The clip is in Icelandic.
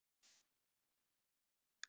Veistu hvað er langt þangað?